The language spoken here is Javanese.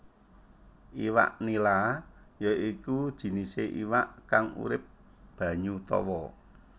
Iwak nila ya iku jinisé iwak kang urip banyu tawa